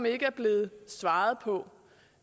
ikke er blevet svaret på